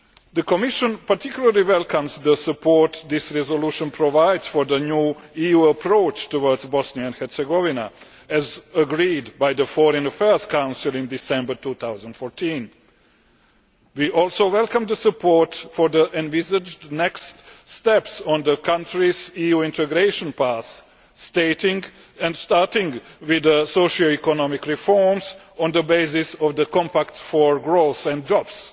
The Commission particularly welcomes the support this resolution provides for the new EU approach towards Bosnia and Herzegovina, as agreed by the Foreign Affairs Council in December 2014. We also welcome the support for the envisaged next steps on the country's EU integration path, starting with the socio economic reforms, on the basis of the Compact for Growth and Jobs,